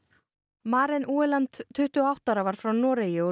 Maren tuttugu og átta ára var frá Noregi og